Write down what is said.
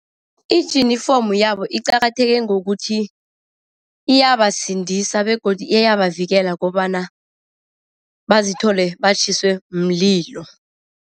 Ijinifomu yabo iqakatheke ngokuthi iyabasindisa begodu iyabavikela kobana bazithole batjhiswe mlilo.